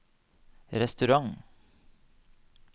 restaurant